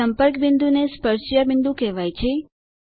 સંપર્ક બિંદુને સ્પર્શજ્યા બિંદુ કહેવાય છે